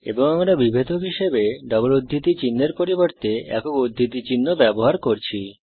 এবং আমরা বিভেদক হিসাবে ডবল উদ্ধৃতি চিনহের পরিবর্তে একক উদ্ধৃতি চিহ্ন ব্যবহার করছি